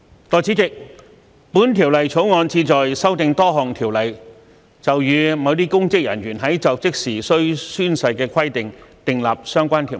代理主席，《2021年公職條例草案》旨在修訂多項條例，就與某些公職人員在就職時須宣誓的規定，訂定相關條文。